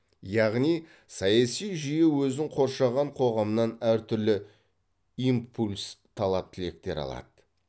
яғни саяси жүйе өзін қоршаған қоғамнан әртүрлі импульс талап тілектер алады